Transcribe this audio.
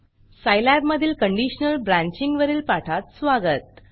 Scilab मधील conditional branching वरील पाठात स्वागत